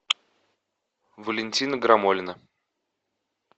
валентина грамолина